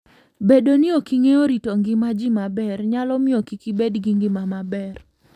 Bedo ni ok ing'eyo rito ngima ji maber, nyalo miyo kik ibed gi ngima maber.